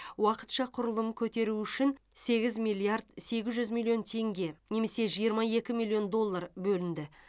уақытша құрылым көтеру үшін сегіз миллиард сегіз жүз миллион теңге немесе жиырма екі миллион доллар бөлінді